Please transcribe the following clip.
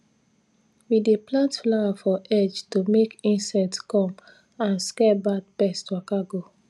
we dey plant flower for edge to make insect come and scare bad pest waka go